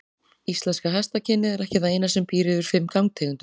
Íslenska hestakynið er ekki það eina sem býr yfir fimm gangtegundum.